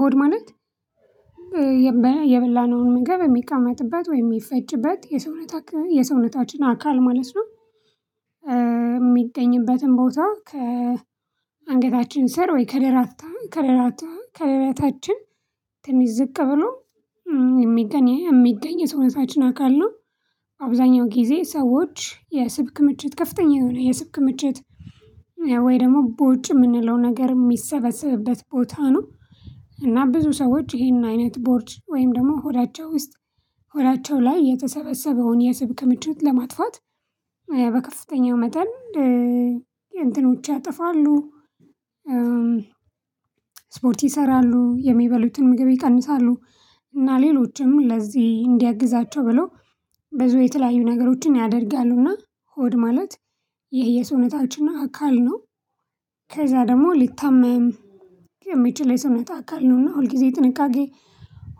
ሆድ ማለት የበላነውን ምግብ የሚቀመጥበት ወይም የሚፈጭበት የሰውነታችን አካል ማለት ነው። የሚገኝበትን ቦታ ከአንገታችን ስር ወይ ከደረታ ከደረታ ከደረታችን ትንሽ ዝቅ ብሎ የሚገኝ የሚገኝ የሰውነታችን አካል ነው። አብዛኛው ጊዜ ሰዎች የስብ ክምችት ከፍተኛ የሆነ የስብ ክምችት ወይ ደግሞ ቦርጭ የምንለው ነገር የሚሰበሰብበት ቦታ ነው። እና ብዙ ሰዎች ይሄን አይነት ቦርጭ ወይም ደግሞ ሆዳቸው ውስጥ ሆዳቸው ላይ የተሰበሰበውን የስብ ክምችት ለማጥፋት በከፍተኛው መጠን እንትኖች ያጠፋሉ። ስፖርት ይሰራሉ የሚበሉትን ምግብ ይቀንሳሉ እና ሌሎችም ለዚህ እንዲያግዛቸው ብለው ብዙ የተለያዩ ነገሮችን ያደርጋሉና ሆድ ማለት ይሄ የሰውነታችን አካል ነው። ከዛ ደግሞ ሊታመም የሚችል የሰውነት አካል ነው እና ሁልጊዜ ጥንቃቄ